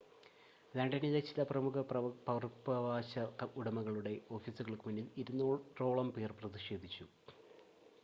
ലണ്ടനിലെ ചില പ്രമുഖ പകർപ്പവകാശ ഉടമകളുടെ ഓഫീസുകൾക്ക് മുന്നിൽ 200 ഓളം പേർ പ്രതിഷേധിച്ചു